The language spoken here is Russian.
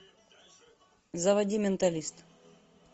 заводи менталист